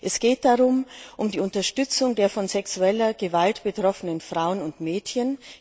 Es geht um die Unterstützung der von sexueller Gewalt betroffenen Frauen und Mädchen.